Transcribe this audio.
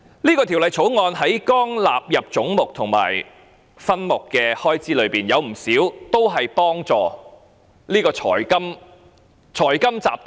這項條例草案在總目和分目的開支內，有不少是幫助財金集團的。